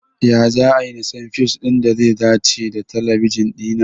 Ya za'ayi na san fiyus ɗin da ze dace da talabijin ɗina?